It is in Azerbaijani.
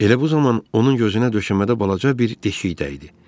Elə bu zaman onun gözünə döşəmədə balaca bir deşik dəydi.